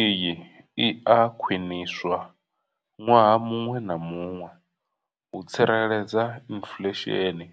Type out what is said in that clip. Iyi i a khwiniswa ṅwaha muṅwe na muṅwe u tsireledza inflesheni